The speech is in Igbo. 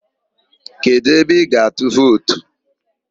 Kedụ ebe ị ga-atụ vootu?